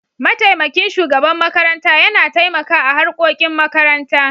Mataimakin shugaban makaranta Yana taimaka a harkokin makaranta.